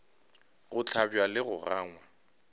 go hlabja le go gangwa